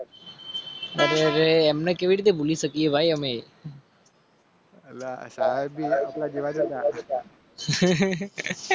અને એમને કેવી રીતે ભૂલી શકીએ?